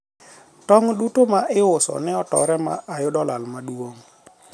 tong' duto ma iuso ne otore ma ayudo lal maduong'